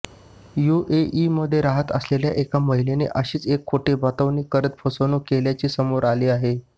यूएईमध्ये राहत असलेल्या एका महिलेने अशीच एक खोटी बतावणी करत फसवणुक केल्याचे समोर आले आहे